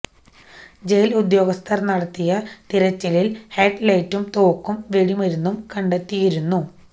ജയില് ഉദ്യോഗസ്ഥര് നടത്തിയ തിരച്ചിലില് ഹെഡ്ലൈറ്റും തോക്കും വെടിമരുന്നും കണ്ടെത്തിയിരുന്നു